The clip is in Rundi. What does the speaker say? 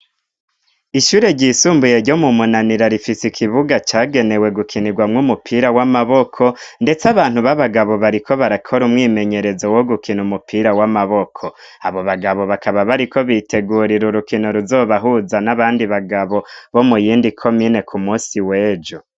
Ishure ryisumbuye ryo mu munanira rifise ikibuga cagenewe gukinigwamwo umupira w'amaboko ndetse abantu b'abagabo bariko barakora umwimenyerezo wo gukina umupira w'amaboko abo bagabo bakaba bariko bitegurira urukino ruzobahuza n'abandi bagabo bo muyindi komine ku musi w'ejo.